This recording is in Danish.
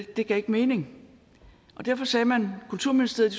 det gav ikke mening derfor sagde man at kulturministeriet